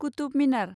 Qutub Minar